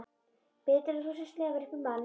Betur en þú sem slefar upp í mann.